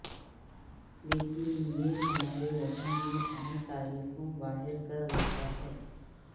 لیکن یہ ہمارے وزن میں اہم تاریخوں باہر کر دیتا ہے